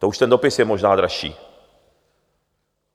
To už ten dopis je možná dražší.